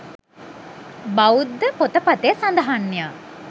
බෞද්ධ පොතපතේ සඳහන් ය.